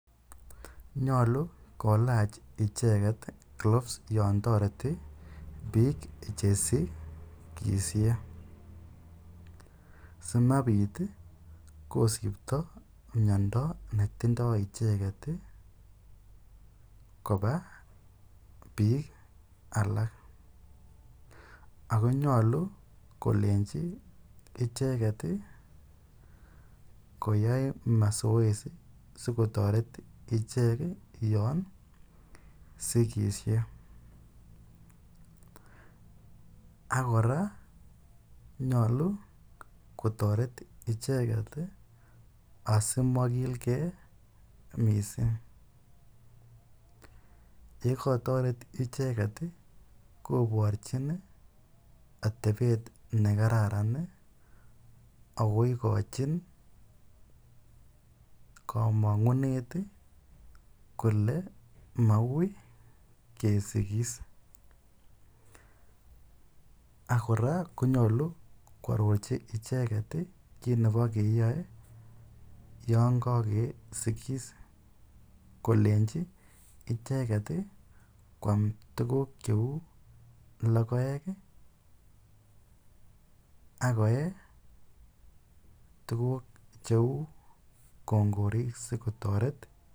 Nyalu kolach icheket gloves yan tareti piik che sigishe asimapit kosipta miondo netindai icheget kopa piik alak ako nyalu kolenchi icheget koyai masoesi asikotaret ichek yan sigishe. Ak kora, nyalu kotaret icheget asimakilgei missing'.Ye kataret icheget i,koparchin atepet ne kararan ako ikachin kamang'unet kole maui kesigis. Ak kora konyalu ko arorchi icheget ko yan kakesigis, kolenchi icheget i, koam tuguuk cheu logoek ak koe tuguuk cheu rongorik asikotaret.